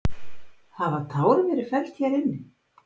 Hafa tár verið felld hér inni?